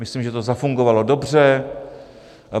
Myslím, že to zafungovalo dobře.